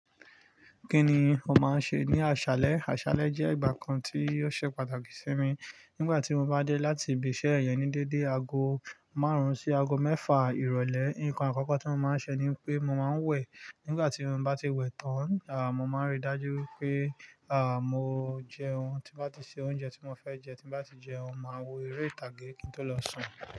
Kí ni o máa ń ṣe ní àṣálẹ́? Àṣálẹ́ jẹ́ ìgbà kan tí ó ṣe pàtàkì sí mi. Nígbà tí mo bá dé láti ibi iṣẹ́ ẹ̀yán ní dédé aago márùn-ún sí aago mẹ́fà ìrọ̀lẹ́, nǹkan àkọ́kọ́ tí mo máa ń ṣe ni pé mo máa ń wẹ̀. Nígbà tí mo bá ti wẹ̀ tán, à, mo máa ń rí i dájú pé, à, mo jẹun. Tí mo bá ti ṣe oúnjẹ tí mo fẹ́ jẹ, tí mo bá ti jẹun, màá wo eré ìtàgé kí n tó lọ sùn.